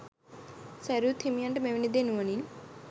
සැරියුත් හිමියන්ට මෙවැනි දේ නුවණින්